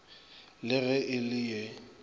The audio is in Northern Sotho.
le ge e le ye